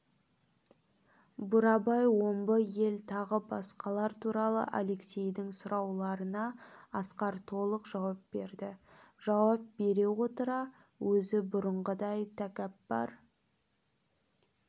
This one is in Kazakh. бурабай омбы ел тағы басқалар туралы алексейдің сұрауларына асқар толық жауап берді жауап бере отыра өзі бұрынғыдай тәкаппар